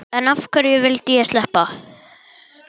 En hverju vildi ég sleppa?